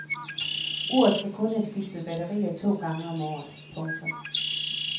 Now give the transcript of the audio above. Uret skal kun have skiftet batterier to gange om året. punktum